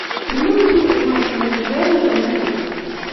прямой эфир матча между бернли и манчестер